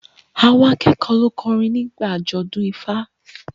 Àwọn akẹ́kọ̀ọ́ lọ kọrin níbi àjọ̀dún Ifa